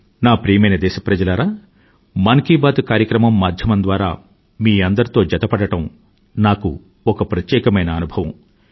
నా ప్రియమైన దేశప్రజలారా మన్ కీ బాత్ కార్యక్రమం మాధ్యమం ద్వారా మీ అందరితో జతపడడం నాకు ఒక ప్రత్యేకమైన అనుభవం